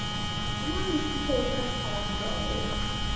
আমার একটু শরীরটা খারাপ, জ্বর হয়েছে